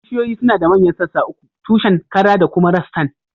Bishiyoyi suna da manyan sassa uku, tushen, kara da kuma rassan